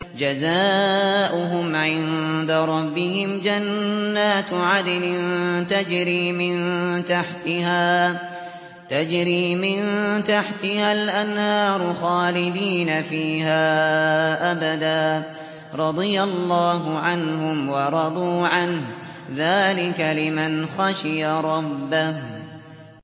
جَزَاؤُهُمْ عِندَ رَبِّهِمْ جَنَّاتُ عَدْنٍ تَجْرِي مِن تَحْتِهَا الْأَنْهَارُ خَالِدِينَ فِيهَا أَبَدًا ۖ رَّضِيَ اللَّهُ عَنْهُمْ وَرَضُوا عَنْهُ ۚ ذَٰلِكَ لِمَنْ خَشِيَ رَبَّهُ